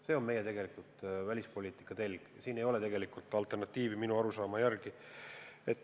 See on meie tegelik välispoliitika telg, sellel ei ole minu arusaama järgi alternatiivi.